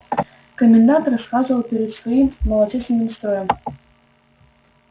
комендант расхаживал перед своим малочисленным строем